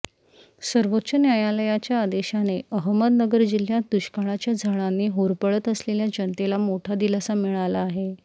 सर्वोच्च न्यायालयाच्या आदेशाने अहमदनगर जिल्ह्यात दुष्काळाच्या झळांनी होरपळत असलेल्या जनतेला मोठा दिलासा मिळाला आहे